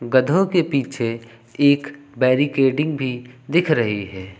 गधों के पीछे एक बैरिकेडिंग भी दिख रही है।